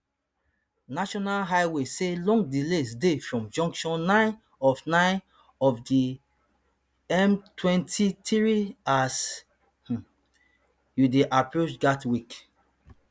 national highways say long delays dey from junction nine of nine of di mtwenty-three as um you dey approach gatwick